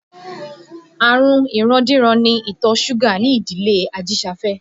Àrùn ìrandíran ni ìtọ̀ súgà ní ìdílé Ajisafe